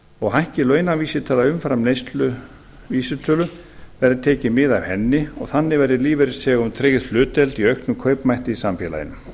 og hækki launavísitala umfram neysluvísitölu verði tekið mið af henni og þannig verði lífeyrisþegum tryggð hlutdeild í auknum kaupmætti í samfélaginu